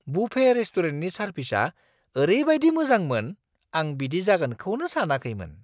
Buffet रेस्टुरेन्टनि सारभिसआ ओरैबायदि मोजांमोन, आं बिदि जागोनखौनो सानाखैमोन!